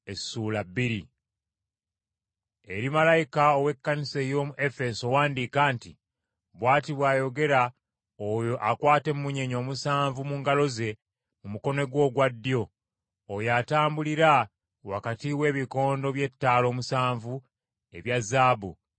“Eri malayika ow’Ekkanisa ey’omu Efeso wandiika nti: Bw’ati bw’ayogera oyo akwata emmunyeenye omusanvu mu ngalo ze mu mukono gwe ogwa ddyo, oyo atambulira wakati w’ebikondo by’ettaala omusanvu ebya zaabu.